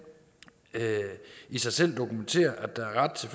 i sig selv dokumentere at der er ret til